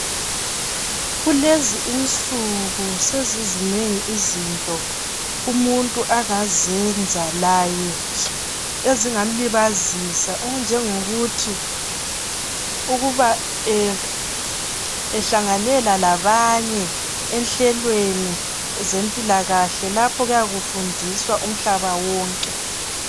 Kulezi insuku sezizinengi izinto umuntu angazenza laye ezingamlibazisa okunjengokuthi ahlanganyele labanye enhlelweni zempilakahle lapho okuyabe kufundiswa umhlaba wonke.